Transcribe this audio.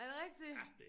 Er det rigtigt?